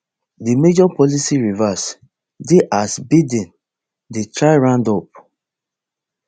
di major policy reverse dey as biden dey try round up